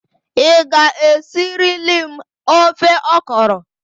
Ị ga-esirili m ofe ọkọrọ!